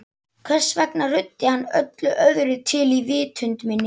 Hvers vegna ruddi hann öllu öðru til í vitund minni?